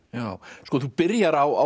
sko þú byrjar á